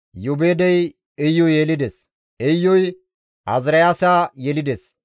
Iyoobeedey Iyu yelides; Iyuy Azaariyaasa yelides;